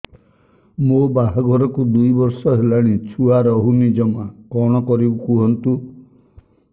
ମୋ ବାହାଘରକୁ ଦୁଇ ବର୍ଷ ହେଲାଣି ଛୁଆ ରହୁନି ଜମା କଣ କରିବୁ କୁହନ୍ତୁ